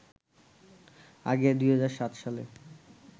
আগে ২০০৭ সালে